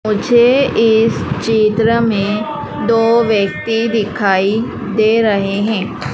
मुझे इस चित्र में दो व्यक्ति दिखाई दे रहे हैं।